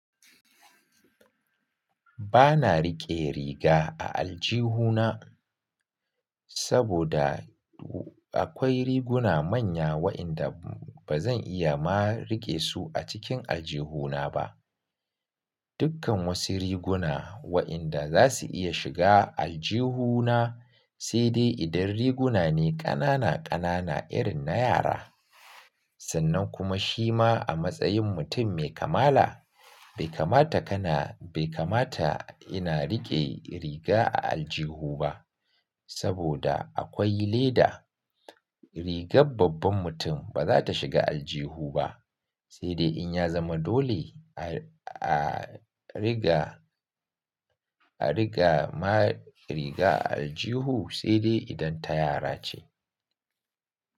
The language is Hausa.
Ba na riƙe riga a aljihuna saboda akwai riguna manya waɗanda ba zan iya ma riƙe su a cikin aljihuna ba. Dukkan wasu riguna waɗanda za su iya shiga aljihuna sai dai idan riguna ne ƙanana ƙanana irin na yara. Sannan kuma shima a matsayin mutum mai kamala bai kamata kana, bai kamata ina riƙe riga a aljihu ba saboda akwai leda. Rigar babban mutum ba za ta shiga aljihu ba sai dai in ya zama dole a riga, a riƙa ma riƙa a aljihu sai dai idan ta yara ce.